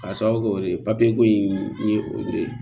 K'a sababu kɛ o de ye ko in ye o de ye